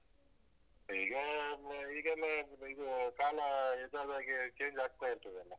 ಈಗ ಮ್ ಈಗೆಲ್ಲ ಇದು ಕಾಲ ಇದ್ ಆದ್ಹಾಗೆ change ಆಗ್ತಾ ಇರ್ತದಲ್ಲ.